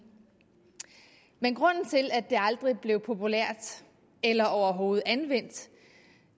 men grunden til at det aldrig blev populært eller overhovedet anvendt